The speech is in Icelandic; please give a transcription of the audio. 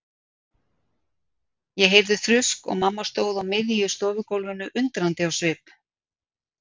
Ég heyrði þrusk og mamma stóð á miðju stofugólfinu undrandi á svip.